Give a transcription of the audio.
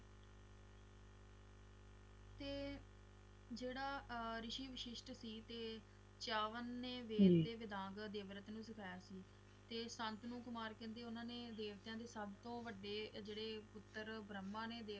ਤੇ ਜਿਹੜਾ ਰਿਸ਼ੀ ਵਸ਼ਿਸ਼ਟ ਸੀ ਤੇ ਚਾਹਵਾਨ ਨੇ ਵੇਲ ਦੇ ਵਿਦਾਂਤ ਦੇਵਰਤਨ ਨੂੰ ਸਿਖਾਇਆ ਸੀ ਤੇ ਸ਼ਾਂਤਨੂੰ ਕੁਮਾਰ ਕਹਿੰਦੇ ਓਹਨਾ ਨੇ ਦੇਵਤਾ ਦੇ ਸਭਤੋਂ ਵਡੇ ਜਿਹੜੇ ਪੁੱਤਰ ਬ੍ਰਹਮਾ ਨੇ